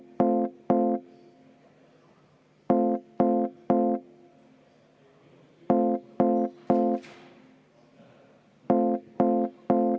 Rene Kokk, palun!